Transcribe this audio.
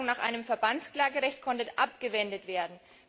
Auch die Forderung nach einem Verbandsklagerecht konnte abgewendet werden.